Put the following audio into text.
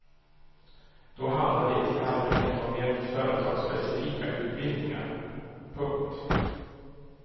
Då handlar det i allmänhet om mer företagsspecifika utbildningar. punkt